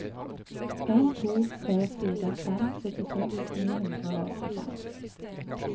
en to fire fem syttiseks ni hundre og åttifem